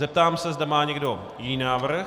Zeptám se, zda má někdo jiný návrh.